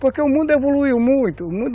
Porque o mundo evoluiu muito.